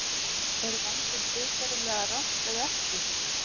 Er vændi siðferðilega rangt eða ekki?